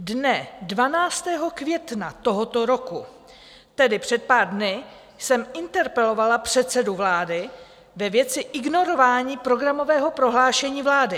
Dne 12. května tohoto roku, tedy před pár dny, jsem interpelovala předsedu vlády ve věci ignorování programového prohlášení vlády.